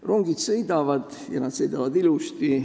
Rongid sõidavad, ja nad sõidavad ilusti.